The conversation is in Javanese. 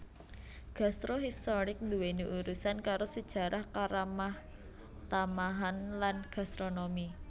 Gastro historik nduwèni urusan karo sajarah karamahtamahan lan gastronomi